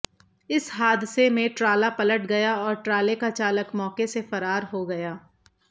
इस हादसे में ट्राला पलट गया और ट्राले का चालक मौके से फरार हो गया